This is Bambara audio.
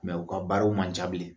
u ka baaraw man ca bilen